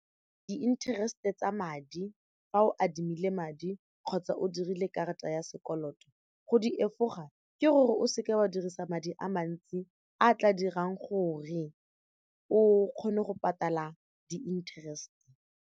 Di-interest tsa madi fa o adimile madi kgotsa o dirile karata ya sekoloto go di efoga ke gore o seke wa dirisa madi a mantsi a tla dirang gore o kgone go patala di-interest.